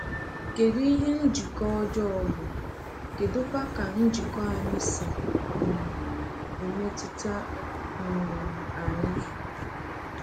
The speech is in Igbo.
Kedụ ihe njikọ ọjọọ bụ, kedụkwa ka njikọ anyị si um emetụta um anyị?